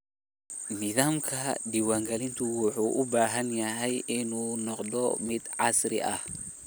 Nidaamka diiwaangelinta wuxuu u baahan yahay inuu noqdo mid casri ah.